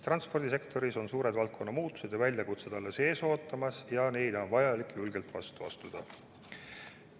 Transpordisektoris ootavad suured valdkonna muudatused ja väljakutsed alles ees ja neile on vaja julgelt vastu astuda.